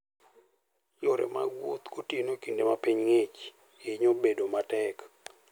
Yore mag wuoth gotieno e kinde ma piny ng'ich, hinyo bedo matek.